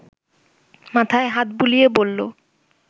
মাথায় হাত বুলিয়ে বলল